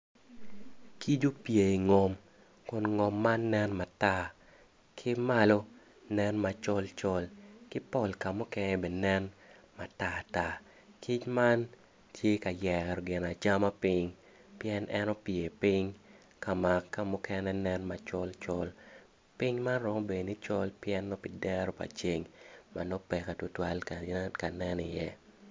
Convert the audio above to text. Kic opye i ngom kun ngom man nen matar ki malo nen macol col ki pol ka mukene bene nen matata kic man tye ka yero ginacama piny pien en opye piny ka ma kamukene nen colcol piny man twero bedo ni col pi dero pa ceng ma nongo peke ka nen iye.